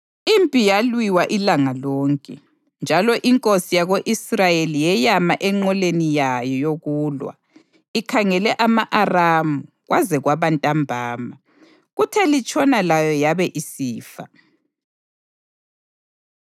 Impi yalwiwa ilanga lonke, njalo inkosi yako-Israyeli yeyama enqoleni yayo yokulwa ikhangele ama-Aramu kwaze kwaba ntambama. Kuthe litshona layo yabe isifa.